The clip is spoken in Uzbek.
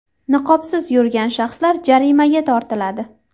Niqobsiz yurgan shaxslar jarimaga tortiladi.